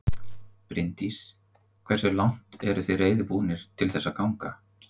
Bryndís: Hversu langt eruð þið reiðubúnir til þess að ganga?